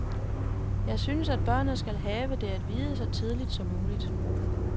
Jeg synes at børnene skal have det at vide så tidligt som muligt.